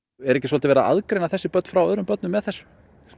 er ekki verið að aðgreina þessi börn frá öðrum börnum með þessu